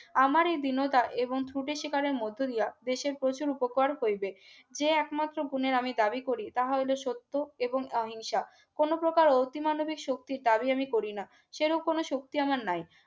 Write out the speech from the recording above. আমার এই বিনোদ ন ত্রুটি শিকারের মধ্যে দিয়া দেশের প্রচুর উপকার হইবে। যে একমাত্র গুণের আমি দাবি করি তাহলো সত্য এবং অহিংসা কোন প্রকার অতি মানবিক শক্তির দাবি আমি করি না সেইরূপ কোন শক্তি আমার নাই